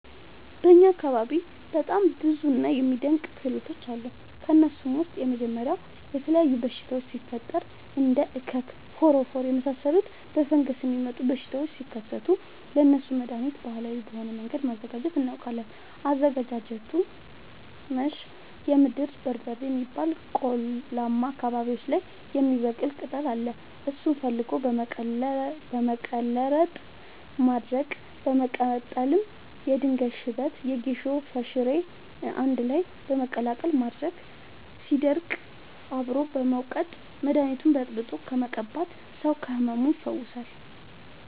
በእኛ አካባቢ በጣም ብዙ እና የሚደናንቅ ክህሎቶች አሉ። ከእነሱም ውስጥ የመጀመሪያው የተለያዩ በሽታወች ሲፈጠሪ እንደ እከክ ፎረፎር የመሳሰሉ በፈንገስ የሚመጡ በሽታዎች ሲከሰቱ ለእነሱ መደሀኒት ባህላዊ በሆነ መንገድ ማዘጋጀት እናውቃለን። አዘገጃጀቱመሸ የምድር በርበሬ የሚባል ቆላማ አካባቢዎች ላይ የሚበቅል ቅጠል አለ እሱን ፈልጎ በመቀለረጥ ማድረቅ በመቀጠልም የድንጋይ ሽበት የጌሾ ፈሸሬ አንድላይ በመቀላቀል ማድረቅ ሲደርቅ አብሮ በመውቀጥ መደኒቱን በጥብጦ በመቀባት ሰው ከህመሙ ይፈወሳል።